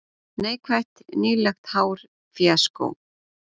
Neikvætt: Nýlegt hár fíaskó.